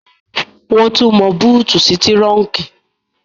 Wọ́n tún mọ búùtì sí túrọ́unkì